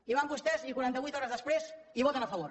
i van vostès i quaranta vuit hores després hi voten a favor